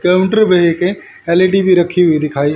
counter पे एक L E D भी रखी हुई दिखाई--